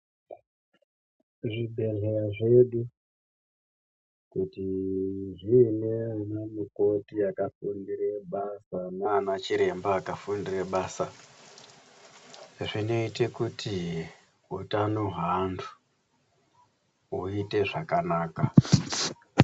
Zvibhehleya zvedu kuti zvinge zviine anamukoti akafundire basa nanachiremba akafundire basa zvinoite kuti utano hweanhu huite zvakanaka.